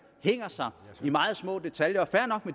hænger sig i meget små detaljer